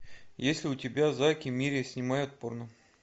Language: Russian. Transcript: есть ли у тебя зак и мири снимают порно